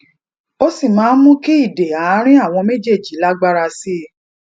ó sì máa ń mú kí ìdè àárín àwọn méjèèjì lágbára sí i